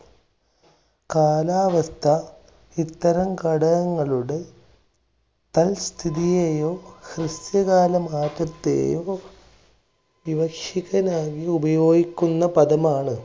കാലാവസ്ഥ ഇത്തരം ഘടകങ്ങളുടെ തൽസ്ഥിതിയെയോ, ഹ്രസ്വകാലമാറ്റത്തെയോ വിവക്ഷിക്കുവാൻ ആയി ഉപയോഗിക്കുന്ന പദമാണ്